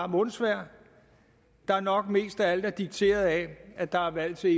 mundsvejr der nok mest af alt er dikteret af at der er valg til